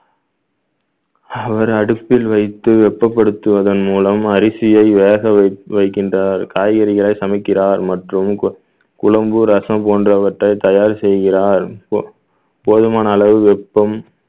அவர் அடுப்பில் வைத்து வெப்பப்படுத்துவதன் மூலம் அரிசியை வேக வைக்~ வைக்கின்றார் காய்கறிகளை சமைக்கிறார் மற்றும் கு~ குழம்பு ரசம் போன்றவற்றை தயார் செய்கிறார் போ~ போதுமான அளவு வெப்பம்